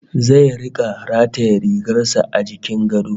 Zai rika rataye rigar sa a jikin gado